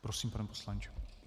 Prosím, pane poslanče.